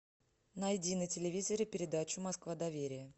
найди на телевизоре передачу москва доверия